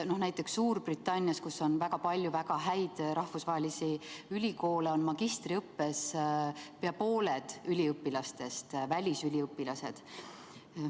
Näiteks Suurbritannias, kus on väga palju väga häid rahvusvahelisi ülikoole, on magistriõppes pea pooled üliõpilastest välisüliõpilased.